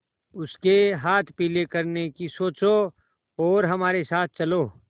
उसके हाथ पीले करने की सोचो और हमारे साथ चलो